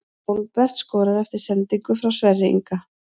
Hólmbert skorar eftir sendingu frá Sverri Inga!